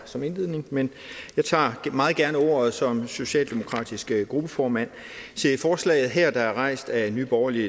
som indledning men jeg tager meget gerne ordet som socialdemokratisk gruppeformand til forslaget her der er rejst af nye borgerlige